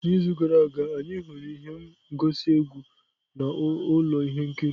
N'izu gara aga, anyị hụrụ ihe ngosi egwu na ụlọ ihe nkiri.